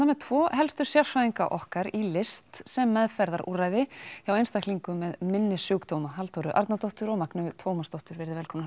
með tvo helstu sérfræðinga okkar í tónlist sem meðferðarúrræði hjá einstaklingum með minnissjúkdóma Halldóru Arnardóttur og Magneu Tómasdóttur